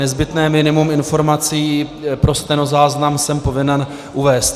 Nezbytné minimum informací pro stenozáznam jsem povinen uvést.